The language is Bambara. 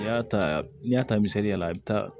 N'i y'a ta n'i y'a ta misaliya la i bɛ taa